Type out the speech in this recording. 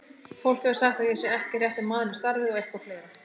Fólk hefur sagt að ég sé ekki rétti maðurinn í starfið og eitthvað fleira